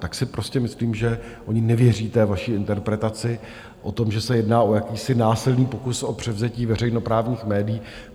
Tak si prostě myslím, že oni nevěří té vaší interpretaci o tom, že se jedná o jakýsi násilný pokus o převzetí veřejnoprávních médií.